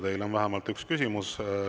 Teile on vähemalt üks küsimus.